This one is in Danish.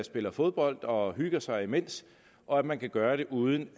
spille fodbold og hygger sig imens og at man kan gøre det uden